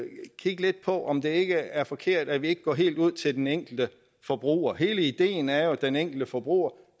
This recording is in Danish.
kigge lidt på om det ikke er forkert at vi ikke går helt ud til den enkelte forbruger hele ideen er jo at den enkelte forbruger